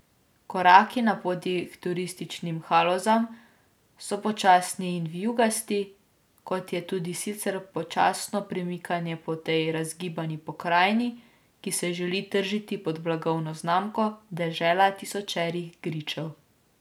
Koraki na poti h turističnim Halozam so počasni in vijugasti, kot je tudi sicer počasno premikanje po tej razgibani pokrajini, ki se želi tržiti pod blagovno znamko Dežela tisočerih gričev.